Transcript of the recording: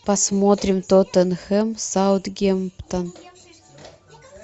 посмотрим тоттенхэм саутгемптон